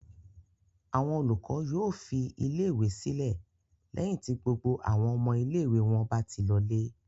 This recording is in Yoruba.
Àwọn olùkọ́ yóò fi ilé-ìwé sílẹ̀ lẹ́yìn tí gbogbo àwọn ọmọ ilé-ìwé wọn bá ti lọlé.